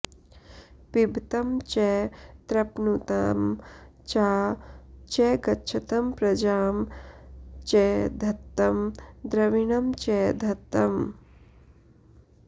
पिब॑तं च तृप्णु॒तं चा च॑ गच्छतं प्र॒जां च॑ ध॒त्तं द्रवि॑णं च धत्तम्